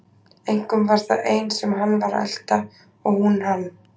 Einkum var það ein sem hann var að elta og hún hann.